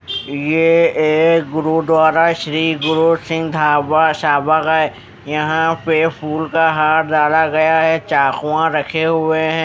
ये गुरु द्वारा श्री गुरु सिंह धावा साबा का है यहां पे फूल का हार डाला गया है चाकू रखे हुए हैं।